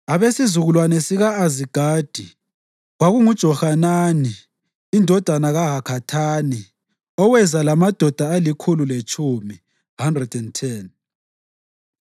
abesizukulwane sika-Azigadi, kwakunguJohanani indodana kaHakathani, oweza lamadoda alikhulu letshumi (110);